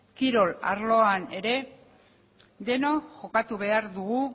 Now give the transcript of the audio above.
kirol arloan ere denok jokatu behar dugu